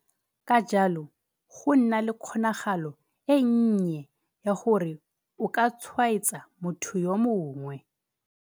Ka jalo, go nna le kgonagalo e nnye ya gore o ka tshwaetsa motho yo mongwe.